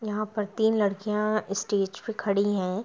यहां पर तीन लड़कियां स्टेज पे खड़ी हैं।